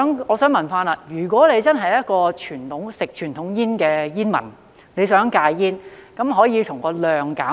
我想問，如果一名吸食傳統煙的煙民想戒煙，可以從數量方面減少。